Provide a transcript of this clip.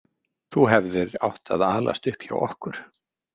Þú hefðir átt að alast upp hjá okkur.